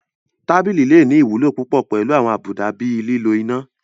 Tábìlì lè ní ìwúlò púpọ̀ pẹ̀lú àwọn àbùdá bíi lílo iná